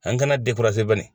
An kɛnɛ